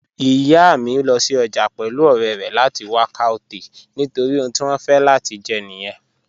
Iyà mi lọ sí ọjà pẹ̀lú ọ̀rẹ̀ rẹ̀ lati wà cọwtail̀ nitori ohun ti wọn fẹ̀ lati jẹ̀ niyẹn.